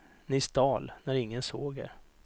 Ni stal, när ingen såg er.